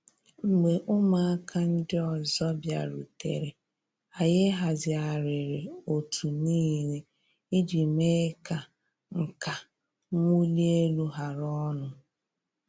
Mgbe ụmụaka ndi ọzọ bịarutere, anyị hazigharịrị òtù niile iji mee ka nka nwuli elu hara ọnụ.